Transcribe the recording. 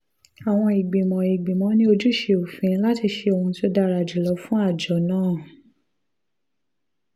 àwọn ìgbìmọ̀ ìgbìmọ̀ ní ojúṣe òfin láti ṣe ohun tó dára jù lọ fún àjọ náà